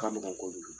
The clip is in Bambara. Ka nɔgɔ kojugu